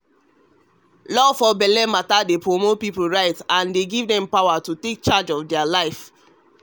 law for belle matter dey promote people rights and give dem the power to take charge of their lifeyou know.